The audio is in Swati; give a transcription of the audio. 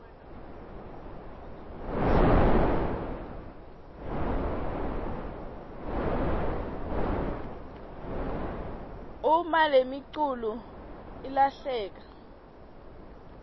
uma lemiculu ilahleka